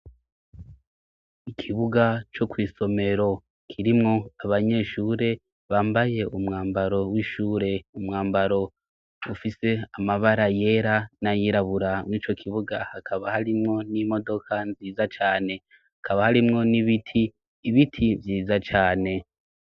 Ikibuga cyo ku isomero kirimwo abanyeshure bambaye umwambaro w'ishure umwambaro ufise amabara yera n'a yirabura nk'ico kibuga hakaba harimwo n'imodoka nziza cane hakaba harimwo n'ibiti ibiti vyiza cane.